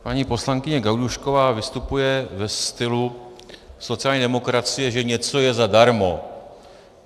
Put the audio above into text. Paní poslankyně Gajdůšková vystupuje ve stylu sociální demokracie, že něco je zadarmo.